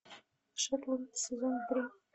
шерлок сезон три